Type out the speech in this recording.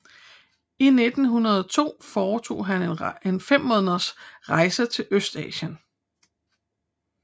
I 1902 foretog han en fem måneders rejse til Østasien